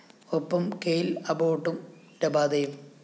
ഒപ്പം കെയ്ല്‍ അബോട്ടും രബാദയും